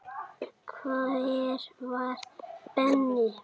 Hver var Benni?